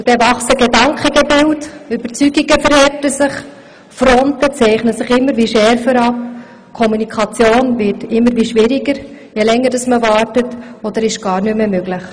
Dann wachsen Gedankengebilde, Überzeugun gen verhärten sich, Fronten zeichnen sich immer schärfer ab, die Kommunikation wird immer schwieriger, je länger man wartet, und manchmal ist sie gar nicht mehr möglich.